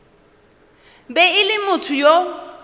be e le motho yo